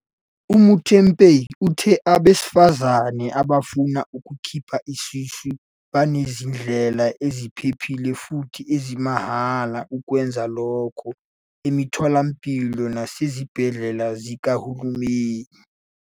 UMuthupei uthi abesifazane abafuna ukukhipha isisu banezindlela eziphephile futhi ezimahhala ukwenza lokho emitholampilo nasezibhedlela zikahulumeni.